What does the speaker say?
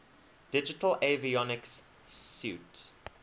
digital avionics suite